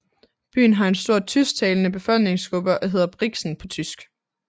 Byen har en stor tysktalende befolkningsgruppe og hedder Brixen på tysk